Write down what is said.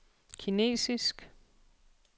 kinesisk